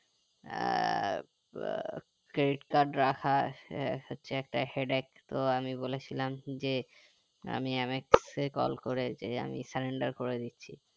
আহ credit card ah হচ্ছে একটা headache তো আমি বলেছিলাম যে আমি mx এ call করে যে আমি cylinder করে দিচ্ছি